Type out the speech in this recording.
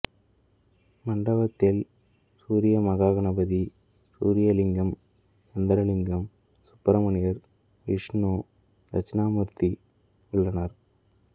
மண்டபத்தில் சூரியமகா கணபதி சூரியலிங்கம் சந்திரலிங்கம் சுப்பிரமணியர் விஷ்ணு தட்சிணாமூர்த்தி உள்ளனர்